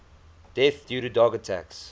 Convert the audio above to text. deaths due to dog attacks